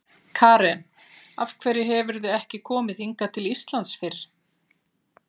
Karen: Af hverju hefurðu ekki komið hingað til Íslands fyrr?